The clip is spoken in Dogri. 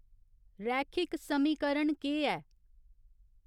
रैखिक समीकरण केह् ऐ